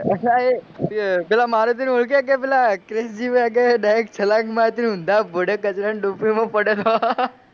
અલા હે પેલા મારુતિને ઓળખે કે પેલા ક્રીશજી વાગે direct છલાંગ મારી હતી ને ઉંધા ભુંડે કચરાની ડૂબકીમાં પડેલો